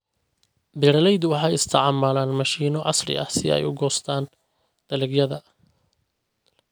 Beeraleydu waxay isticmaalaan mashiino casri ah si ay u goostaan ??dalagyada.